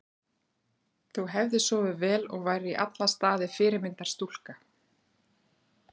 Þú hefðir sofið vel og værir í alla staði fyrirmyndar stúlka.